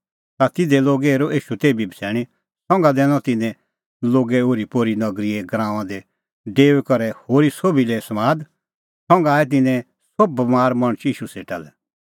ता तिधे लोगै हेरअ ईशू तेभी बछ़ैणीं संघा दैनअ तिन्नैं लोगै ओरीपोरीए नगरीगराऊंआं दी डेऊई करै होरी सोभी लै समाद संघा आणै तिन्नैं सोभ बमार मणछ ईशू सेटा लै